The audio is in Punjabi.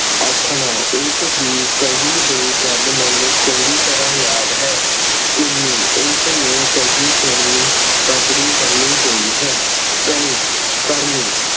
ਆਖਣਾ ਉਸਦੀ ਕਹੀ ਹੋਈ ਗੱਲ ਮੈਨੂੰ ਚੰਗੀ ਤਰ੍ਹਾਂ ਯਾਦ ਹੈ। ਚੁੰਨੀ ਉਸਨੇ ਕਹੀ ਸੁਣੀ ਪਗੜੀ ਬੰਨ੍ਹੀ ਹੋਈ ਹੈ। ਕਣੀ ਕਰਨੀ